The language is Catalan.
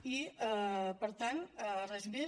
i per tant res més